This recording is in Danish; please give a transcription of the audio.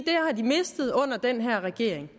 mistet under den her regering